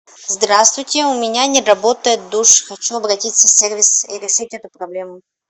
здравствуйте у меня не работает душ хочу обратиться в сервис и решить эту проблему